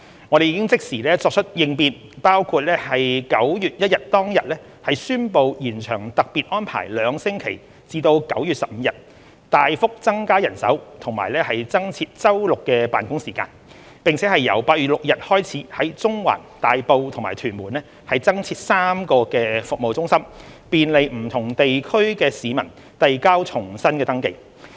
我們已即時作出應變，包括9月1日當天宣布延長特別安排兩星期至9月15日、大幅增加人手及增設周六的辦公時間，並由9月6日開始在中環、大埔及屯門增設3間服務中心，便利不同地區的市民遞交重新登記。